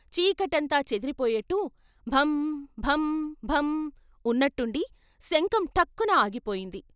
చీకటంతా చెదిరిపోయేట్టు భం భం భం ఉన్నట్టుండి శంఖం టక్కున ఆగిపోయింది.